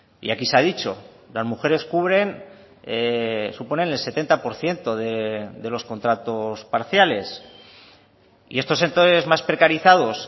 y aquí se ha dicho las mujeres cubren suponen el setenta por ciento de los contratos parciales y estos sectores más precarizados